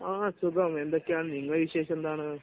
ആ സുഖം. എന്തൊക്കെയാണ് നിങ്ങളുടെ വിശേഷം എന്താണ്?